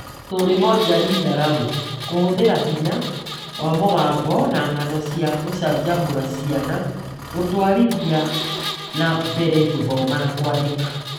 Storymoja Read Aloud: Kũhũthĩra hinya wa mũgambo na ng'ano cia gũcanjamũra ciana gũtwarithia na mbere gũthoma na kwandĩka